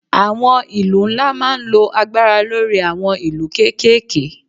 Àwọn ìlú ńlá máa ń lo agbára lórí àwọn ìlú kéékèèké